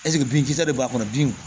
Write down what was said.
Ɛseke binkisɛ de b'a kɔnɔ bin